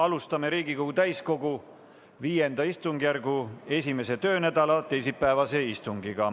Alustame Riigikogu täiskogu V istungjärgu esimese töönädala teisipäevast istungit.